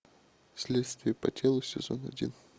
следствие по телу сезон один